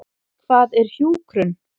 Hvað er hjúkrun?